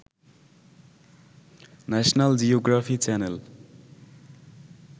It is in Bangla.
national geography channel